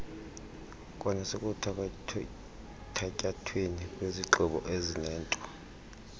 kwanasekuthatyathweni kwezigqibo ezinento